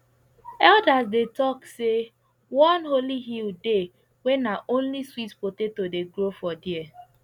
elders dey talk say one holy hill dey wey na only sweet potato dey grow for there